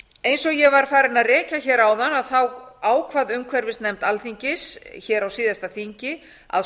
eins og ég var farin að rekja hér áðan ákvað umhverfisnefnd alþingis hér á síðasta þingi að